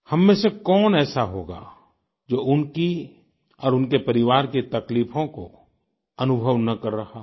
हम में से कौन ऐसा होगा जो उनकी और उनके परिवार की तकलीफों को अनुभव न कर रहा हो